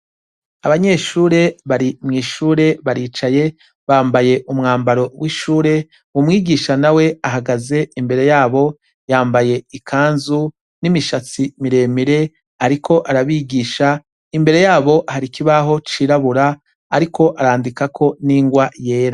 Abanyeshure bari mwishure baricaye bambaye umwambaro wishure umwigisha mawe ahagaze imbere yabo yambaye ikanzu nimishatsi miremire ariko arabigisha imbere yaho hari ikirabaho cirabura ariko arandikako nirwa yera